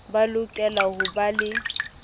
ba lokela ho ba le